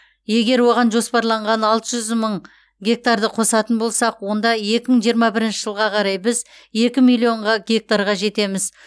егер оған жоспарланған алты жүз мың гектарды қосатын болсақ онда екі мың жиырма бірінші жылға қарай біз екі миллионға гектарға жетеміз